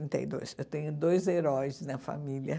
trinta e dois. Eu tenho dois heróis na família.